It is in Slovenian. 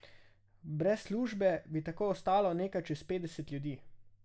Brez službe bi tako ostalo nekaj čez petdeset ljudi.